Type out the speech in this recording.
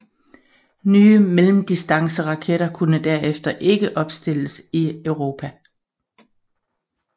Nye mellemdistanceraketter kunne derefter ikke opstilles i Europa